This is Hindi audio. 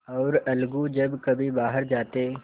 और अलगू जब कभी बाहर जाते